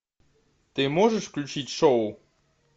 ты можешь включить шоу